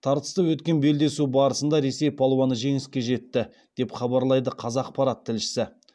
тартысты өткен белдесу барысында ресей палуаны жеңіске жетті деп хабарлайды қазақпарат тілшісі